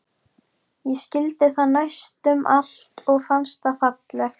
Ég skildi það næstum allt og fannst það fallegt.